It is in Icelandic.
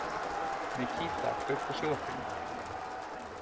Nikíta, kveiktu á sjónvarpinu.